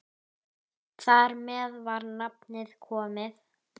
Þar með var nafnið komið.